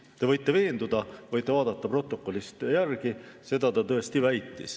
Te võite selles veenduda, võite vaadata protokollist järele, seda ta tõesti väitis.